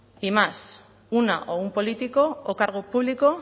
y más una o un político o cargo público